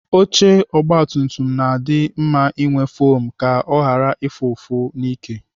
Oche ogbatumtum na-adị mma inwe fom ka ọ ghara ịfụ ụfụ n'ike.